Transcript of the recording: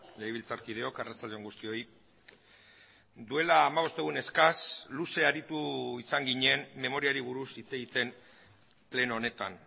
legebiltzarkideok arratsalde on guztioi duela hamabost egun eskas luze aritu izan ginen memoriari buruz hitz egiten pleno honetan